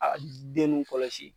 Aa den nun kɔlɔsi